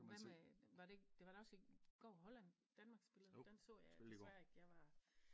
Hvad med var det ikke det var da også i går Holland Danmark spillede den så jeg jo desværre ikke jeg var